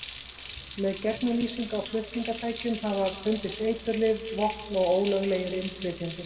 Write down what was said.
Með gegnumlýsingu á flutningatækjum hafa fundist eiturlyf, vopn og ólöglegir innflytjendur.